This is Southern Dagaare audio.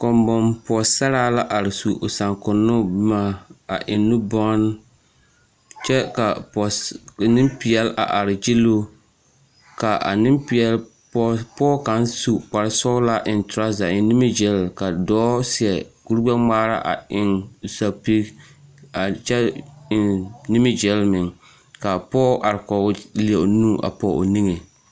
Kɔŋbɔŋ pɔɔsaraa la are su o saŋkonnoo boma a eŋ nubɔn kyɛ ka pɔɔs neŋpeɛl a are gyilloo ka a neŋpeɛl pɔge kparresɔglaa a eŋ torɔze a eŋ nimigyil ka dɔɔ seɛ koregbɛŋmaara a eŋ sapig a kyɛ eŋ nimigyil meŋ kaa pɔge are kɔge o leɛ o nu a pɔg o niŋe.